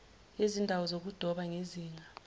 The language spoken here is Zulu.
yezindawo zokudoba ngezinga